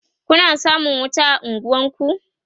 Kuna samun wuta a unguwanku?